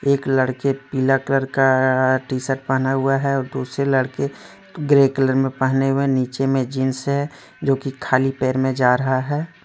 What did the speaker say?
एक लड़के पिला कलर का टी शर्ट पहना हुआ है और दूसरे लड़के ग्रे कलर में पहने हुए नीचे में जींस है जो कि खाली पैर में जा रहा है ।